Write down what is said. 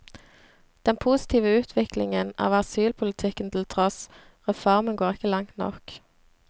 Den positive utviklingen av asylpolitikken til tross, reformen går ikke langt nok.